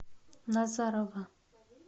назарово